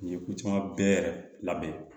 Nin ye ko caman bɛɛ labɛn